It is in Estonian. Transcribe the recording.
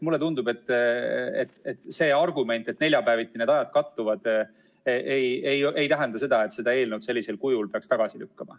Mulle tundub, et see argument, et neljapäeviti need ajad kattuvad, ei tähenda, et selle eelnõu peaks tagasi lükkama.